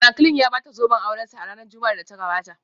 Franklin ya bata zoben aurensa a ranar Juma'ar da ta gabata